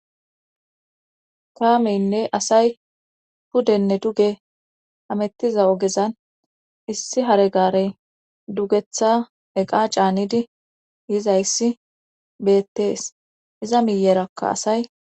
kaameynne asay puddenne duge hamettiza ogezan issi haregarey dugetha eqa caanidi yizayssi beettees iza miyerakka asay